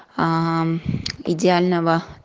идеального